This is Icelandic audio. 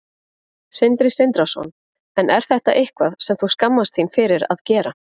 Sindri Sindrason: En er þetta eitthvað sem þú skammast þín fyrir að gera?